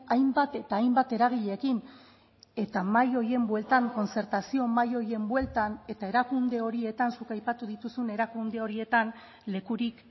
hainbat eta hainbat eragileekin eta mahai horien bueltan kontzertazio mahai horien bueltan eta erakunde horietan zuk aipatu dituzun erakunde horietan lekurik